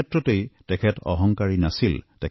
কোনো ক্ষেত্ৰতেই তেখেত অহংকাৰী নাছিল